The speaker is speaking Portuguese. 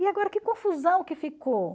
E agora que confusão que ficou.